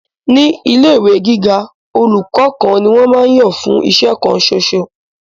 Ni ile ìwé gíga, olùkọ́ kan ni wọn máa ń yàn fún iṣẹ́ kan ṣoṣo.